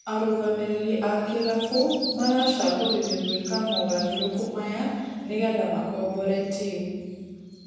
Arũgamĩrĩri a kirabu maracagũrire gũĩka mũgarũrũku maya nĩgetha makombore timũ.......